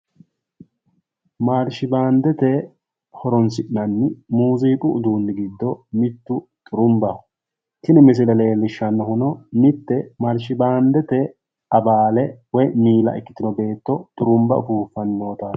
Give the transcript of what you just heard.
Marshi baandete horonsi'nanni Muziiqa giddo mitu xurumbaho, tini misilete iima leelittano beettono marshibandete miila ikkaseti